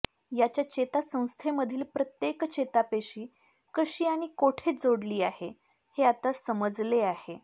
याच्या चेतासंस्थेमधील प्रत्येक चेतापेशी कशी आणि कोठे जोडली आहे हे आता समजले आहे